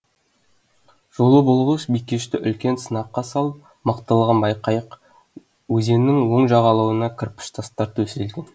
жолы болғыш бикешті үлкен сынаққа салып мықтылығын байқайық өзеннің оң жағалауына кірпіш тастар төселген